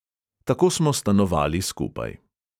Tako smo stanovali skupaj.